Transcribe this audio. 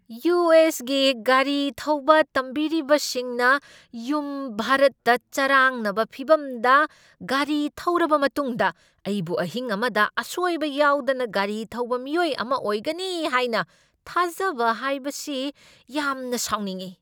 U. S. ꯒꯤ ꯒꯥꯔꯤ ꯊꯧꯕ ꯇꯝꯕꯤꯔꯤꯕꯁꯤꯡꯅ ꯌꯨꯝ ꯚꯥꯔꯠꯇ ꯆꯔꯥꯡꯅꯕ ꯐꯤꯚꯝꯗ ꯒꯥꯔꯤ ꯊꯧꯔꯕ ꯃꯇꯨꯡꯗ ꯑꯩꯕꯨ ꯑꯍꯤꯡ ꯑꯃꯗ ꯑꯁꯣꯏꯕ ꯌꯥꯎꯗꯅ ꯒꯥꯔꯤ ꯊꯧꯕ ꯃꯤꯑꯣꯏ ꯑꯃ ꯑꯣꯏꯒꯅꯤ ꯍꯥꯏꯅ ꯊꯥꯖꯕ ꯍꯥꯏꯕꯁꯤ ꯌꯥꯝꯅ ꯁꯥꯎꯅꯤꯡꯢ꯫